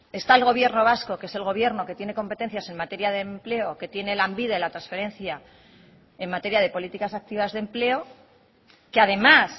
está el gobierno vasco que es el gobierno que tiene competencias en materia de empleo que tiene lanbide la transferencia en materia de políticas activas de empleo que además